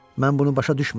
Mən bunu başa düşmürəm.